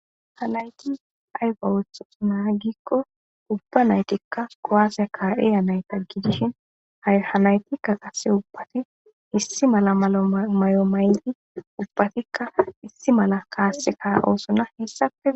Ha nati ay othizan giko ubba naytika kuwase ka'iya nayta gidishin ha naytika qase ubbati issi mala mayo mayidi ubbatika issi kase ka'osona hesape